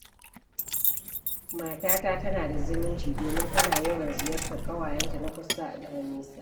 Matata tana da zumunci, domin tana yawan ziyartar ƙawayenta na kusa da na nesa.